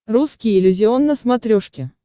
русский иллюзион на смотрешке